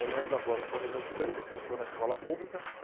Eu lembro agora, então, do meu primeiro professor na escola pública.